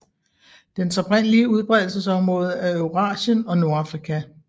Dens oprindelige udbredelsesområde er Eurasien og Nordafrika